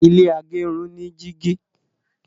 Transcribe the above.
ilé igerun ni jìgì.